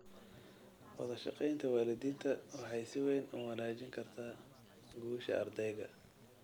Wadashaqeynta waalidiinta waxay si weyn u wanaajin kartaa guusha ardayga.